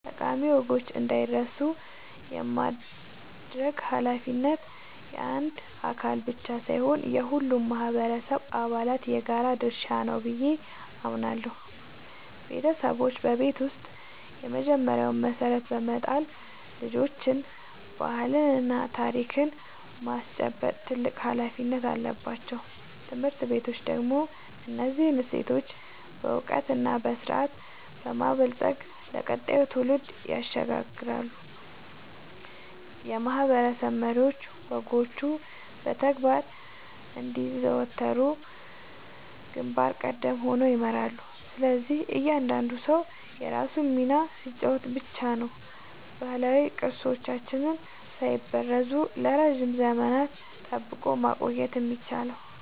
ጠቃሚ ወጎች እንዳይረሱ የማድረግ ኃላፊነት የአንድ አካል ብቻ ሳይሆን የሁሉም ማህበረሰብ አባላት የጋራ ድርሻ ነው ብዬ አምናለሁ። ቤተሰቦች በቤት ውስጥ የመጀመሪያውን መሰረት በመጣል ልጆችን ባህልና ታሪክ የማስጨበጥ ትልቅ ኃላፊነት አለባቸው። ትምህርት ቤቶች ደግሞ እነዚህን እሴቶች በዕውቀትና በስርዓት በማበልጸግ ለቀጣዩ ትውልድ ያሸጋግራሉ፤ የማህበረሰብ መሪዎችም ወጎቹ በተግባር እንዲዘወተሩ ግንባር ቀደም ሆነው ይመራሉ። ስለዚህ እያንዳንዱ ሰው የራሱን ሚና ሲጫወት ብቻ ነው ባህላዊ ቅርሶቻችንን ሳይበረዙ ለረጅም ዘመናት ጠብቆ ማቆየት የሚቻለው።